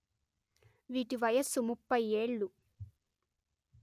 వీటి వయస్సు ముప్పై ఏళ్ళు